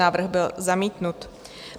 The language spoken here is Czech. Návrh byl zamítnut.